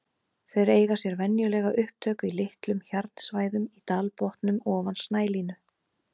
Þeir eiga sér venjulega upptök í litlum hjarnsvæðum í dalbotnum ofan snælínu.